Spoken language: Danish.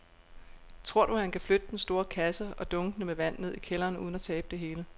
Tror du, at han kan flytte den store kasse og dunkene med vand ned i kælderen uden at tabe det hele?